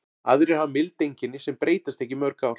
Aðrir hafa mild einkenni sem breytast ekki í mörg ár.